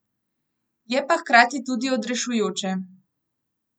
Je pa hkrati tudi odrešujoče.